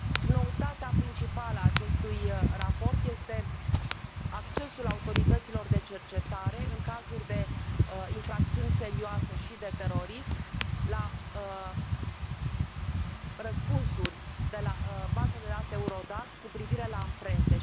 Noutatea principală a acestui raport este accesul autorităților de cercetare, în cazuri de infracțiuni serioase și de terorism, la răspunsuri de la baza de date EURODAC cu privire la amprente.